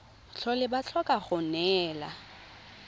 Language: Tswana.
tlhole ba tlhoka go neelana